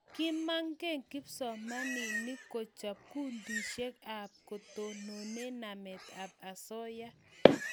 Kimage kipsomanik kochop kundishek ab ketonone namet ab asoya